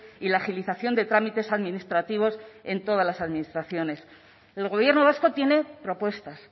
y la agilización de trámites administrativos en todas las administraciones el gobierno vasco tiene propuestas